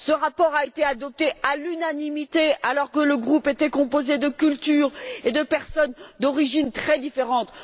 Ce rapport a été adopté à l'unanimité alors que le groupe était composé de cultures et de personnes d'origines très différentes.